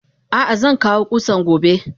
Ah ah zankawo kusan gobe.